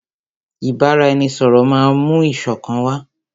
Ìbáraẹnisọ̀rọ̀ máà mú ìṣọ̀kan wá.